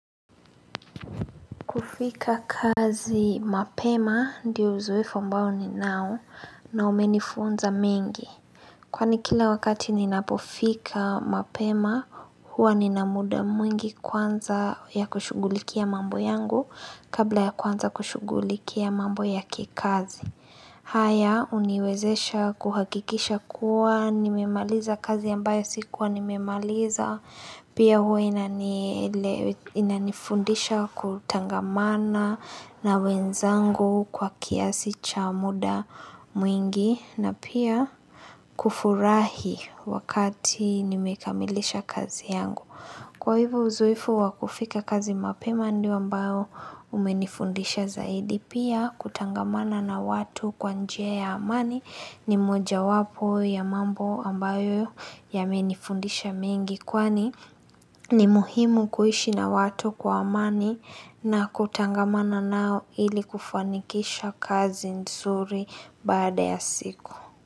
Kufika kazi mapema, ndiyo uzoefu ambao ninao na umenifunza mengi. Kwani kila wakati ninapofika mapema, huwa nina muda mwingi kwanza ya kushugulikia mambo yangu kabla ya kwanza kushugulikia mambo ya kikazi. Haya, huniwezesha kuhakikisha kuwa nimemaliza kazi ambayo sikuwa nimemaliza. Pia hua inanifundisha kutangamana na wenzangu kwa kiasi cha muda mwingi na pia kufurahi wakati nimekamilisha kazi yangu. Kwa hivyo uzoefu wa kufika kazi mapema ndio ambao umenifundisha zaidi pia kutangamana na watu kwa njia ya amani ni moja wapo ya mambo ambayo yamenifundisha mengi kwani ni muhimu kuishi na watu kwa amani na kutangamana nao ili kufanikisha kazi nzuri baada ya siku.